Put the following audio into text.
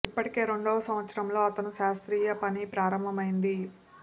ఇప్పటికే రెండవ సంవత్సరంలో అతను తన శాస్త్రీయ పని ప్రారంభమైంది